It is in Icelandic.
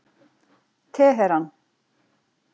Teheran